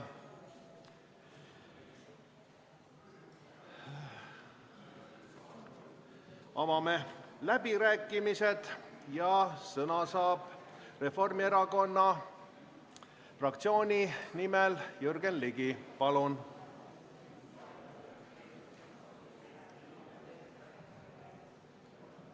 Avame läbirääkimised ja sõna saab Reformierakonna fraktsiooni nimel Jürgen Ligi.